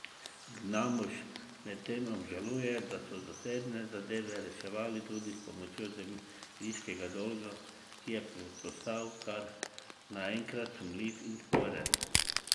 Gnamuš medtem obžaluje, da so zasebne zadeve reševali tudi s pomočjo zemljiškega dolga, ki je postal kar naenkrat sumljiv in sporen.